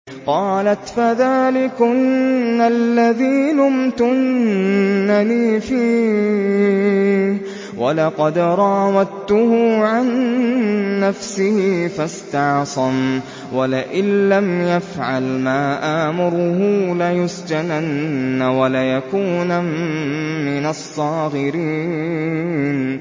قَالَتْ فَذَٰلِكُنَّ الَّذِي لُمْتُنَّنِي فِيهِ ۖ وَلَقَدْ رَاوَدتُّهُ عَن نَّفْسِهِ فَاسْتَعْصَمَ ۖ وَلَئِن لَّمْ يَفْعَلْ مَا آمُرُهُ لَيُسْجَنَنَّ وَلَيَكُونًا مِّنَ الصَّاغِرِينَ